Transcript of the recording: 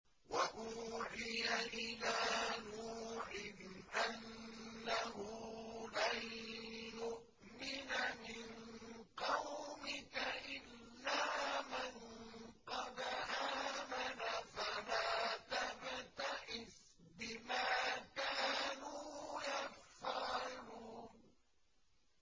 وَأُوحِيَ إِلَىٰ نُوحٍ أَنَّهُ لَن يُؤْمِنَ مِن قَوْمِكَ إِلَّا مَن قَدْ آمَنَ فَلَا تَبْتَئِسْ بِمَا كَانُوا يَفْعَلُونَ